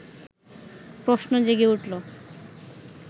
প্রশ্ন জেগে উঠল